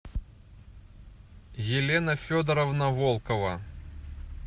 елена федоровна волкова